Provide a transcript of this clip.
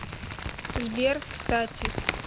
сбер кстати